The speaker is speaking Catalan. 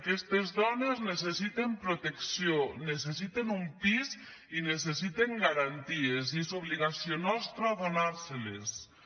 aquestes dones necessiten protecció necessiten un pis i necessiten garanties i és obligació nostra donarlosho